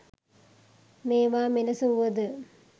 මේවා මෙලෙස වුවද